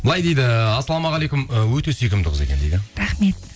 былай дейді ассалаумағалейкум і өте сүйкімді қыз екен дейді рахмет